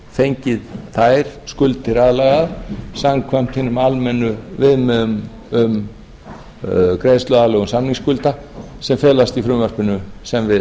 fengið þær skuldir aðlagaðar samkvæmt hinum almennu viðmiðum um greiðsluaðlögun samningsskulda sem felast í frumvarpinu sem við